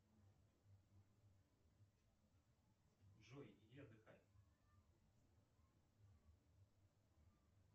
джой иди отдыхай